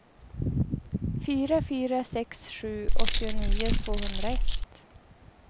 fyra fyra sex sju åttionio tvåhundraett